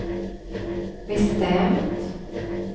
bestämt